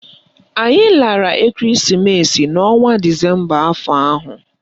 Anyị lara ekereesimesi n'ọnwa disemba afọ ahụ